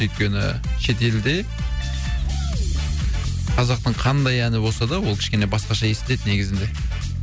өйткені шетелде қазақтың қандай әні болса да ол кішкене басқаша естіледі негізінде